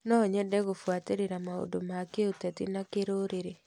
No nyende gũbuatĩrĩra maũndũ ma kĩũteti na kĩrũrĩrĩ.